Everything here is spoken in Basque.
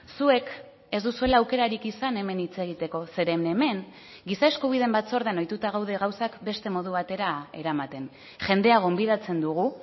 zuek ez duzuela aukerarik izan hemen hitz egiteko zeren hemen giza eskubideen batzordean ohituta gaude gauzak beste modu batera eramaten jendea gonbidatzen dugu